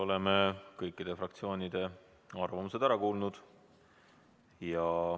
Oleme kõikide fraktsioonide arvamused ära kuulanud.